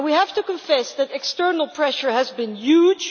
And we have to confess that external pressure has been huge